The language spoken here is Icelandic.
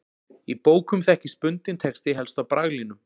Í bókum þekkist bundinn texti helst á braglínum.